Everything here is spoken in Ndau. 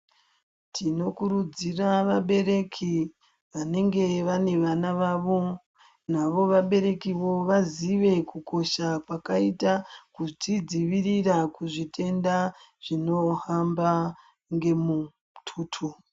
Tinokuridzira vabereki vanenge vane vana vavo navo vaberekivo vaziye kukosha kwakaita kuzvidzivirira kuzvitenda zvinohamba nemututo.